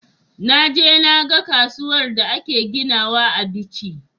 Naje na ga kasuwar da ake ginawa a bichi